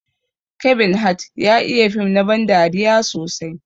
Kevin Hart ya iya fim na ban dariya sosai.